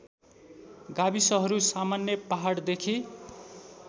गाविसहरू सामान्य पहाडदेखि